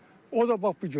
O da bax bu gündür.